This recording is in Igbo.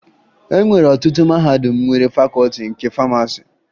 E nwere ọtụtụ mahadum nwere Fakọọti nke Famasi